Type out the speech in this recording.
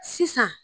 Sisan